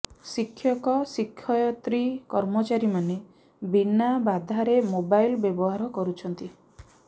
ଶିକ୍ଷକ ଶିକ୍ଷୟିତ୍ରୀ କର୍ମଚାରୀମାନେ ବିନା ବାଧାରେ ମୋବାଇଲ୍ ବ୍ୟବହାର କରୁଛନ୍ତି